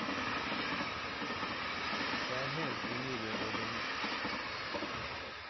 Det er helt umulig å vinne.